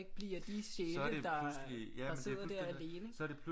Blive af de sjæle der der sidder der alene ikke